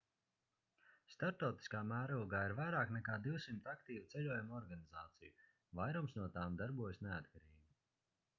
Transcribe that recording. starptautiskā mērogā ir vairāk nekā 200 aktīvu ceļojumu organizāciju vairums no tām darbojas neatkarīgi